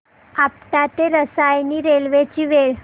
आपटा ते रसायनी रेल्वे ची वेळ